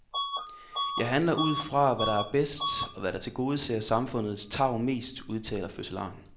Jeg handler ud fra, hvad der er bedst, og hvad der tilgodeser samfundets tarv mest, udtaler fødselaren.